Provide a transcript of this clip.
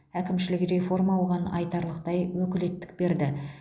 әкімшілік реформа оған айтарлықтай өкілеттік берді